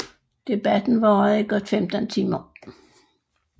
Debatten varede i godt 15 timer